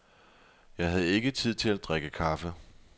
Jeg havde ikke tid til at drikke kaffe.